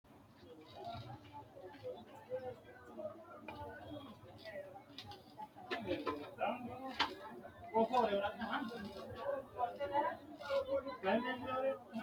Kalqete daga giddo meyaati boco amadanno yine ammannanni Kalqete daga giddo meyaati boco amadanno yine ammannanni Kalqete daga giddo meyaati.